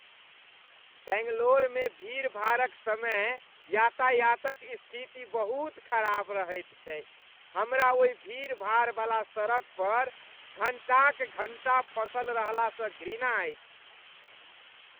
बैंगलोरमे भीड़भाड़क समय यातायातक स्थिति बहुत खराब रहैत छै। हमरा ओहि भीड़भाड़ बला सड़क पर घण्टाक घण्टा फँसल रहलासँ घृणा अछि।